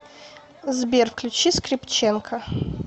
сбер включи скрипченко